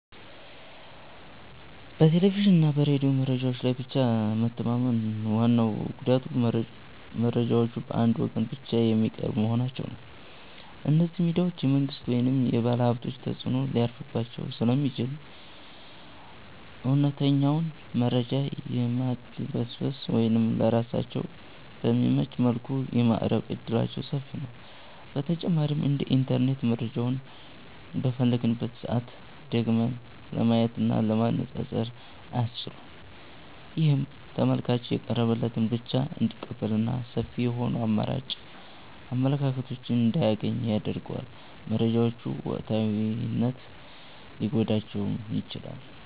በቴሌቪዥንና በሬዲዮ መረጃዎች ላይ ብቻ መተማመን ዋናው ጉዳቱ መረጃዎቹ በአንድ ወገን ብቻ የሚቀርቡ መሆናቸው ነው። እነዚህ ሚዲያዎች የመንግሥት ወይም የባለሀብቶች ተጽዕኖ ሊያርፍባቸው ስለሚችል፣ እውነተኛውን መረጃ የማድበስበስ ወይም ለራሳቸው በሚመች መልኩ የማቅረብ ዕድላቸው ሰፊ ነው። በተጨማሪም እንደ ኢንተርኔት መረጃውን በፈለግንበት ሰዓት ደግመን ለማየትና ለማነፃፀር አያስችሉም። ይህም ተመልካቹ የቀረበለትን ብቻ እንዲቀበልና ሰፊ የሆኑ አማራጭ አመለካከቶችን እንዳያገኝ ያደርገዋል። መረጃዎቹ ወቅታዊነት ሊጎድላቸውም ይችላል።